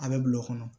A bɛ bil'o kɔnɔ